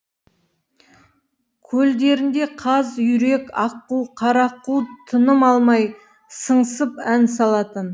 көлдерінде қаз үйрек аққу қарақу тыным алмай сыңсып ән салатын